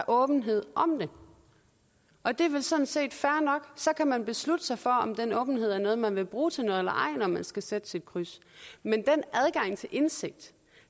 åbenhed om det og det er vel sådan set fair nok så kan man beslutte sig for om den åbenhed er noget man vil bruge til noget eller ej når man skal sætte sit kryds men den adgang til indsigt